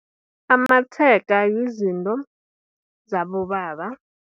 Amatshega, yizinto zabobaba.